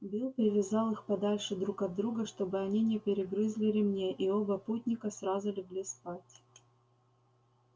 билл привязал их подальше друг от друга чтобы они не перегрызли ремней и оба путника сразу легли спать